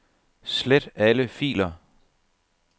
Slet alle filer.